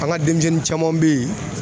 An ka denmisɛnnin caman bɛ yen